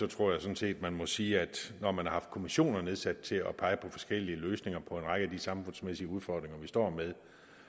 tror jeg sådan set vi må sige at når man har haft kommissioner nedsat til at pege på forskellige løsninger på en række af de samfundsmæssige udfordringer vi står med